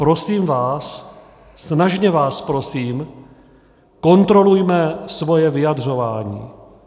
Prosím vás, snažně vás prosím, kontrolujme svoje vyjadřování.